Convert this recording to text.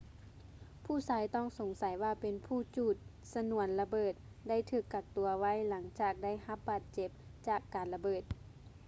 ຜູ້ຊາຍຕ້ອງສົງໃສວ່າເປັນຜູ້ຈູດຊະນວນລະເບີດ ໄດ້ຖືກກັກຕົວໄວ້ ຫຼັງຈາກໄດ້ຮັບບາດເຈັບຈາກການລະເບີດ